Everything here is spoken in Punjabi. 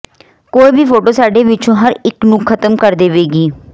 ਕੋਈ ਵੀ ਫੋਟੋ ਸਾਡੇ ਵਿੱਚੋਂ ਹਰ ਇਕ ਨੂੰ ਖ਼ਤਮ ਕਰ ਦੇਵੇਗੀ